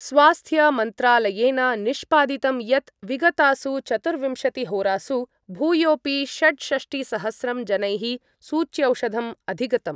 स्वास्थ्यमन्त्रालयेन निष्पादितं यत् विगतासु चतुर्विंशतिहोरासु भूयोपि षड्षष्टिसहस्रं जनैः सूच्यौषधम् अधिगतम्।